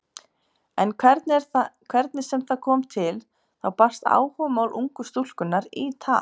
En hvernig sem það kom til þá barst áhugamál ungu stúlkunnar í tal.